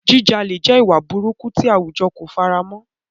Jíjalè jẹ́ ìwà burúkú tí àwùjọ kò fara mọ́.